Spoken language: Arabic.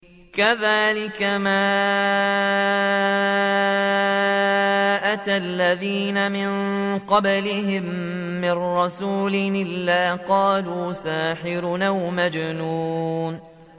كَذَٰلِكَ مَا أَتَى الَّذِينَ مِن قَبْلِهِم مِّن رَّسُولٍ إِلَّا قَالُوا سَاحِرٌ أَوْ مَجْنُونٌ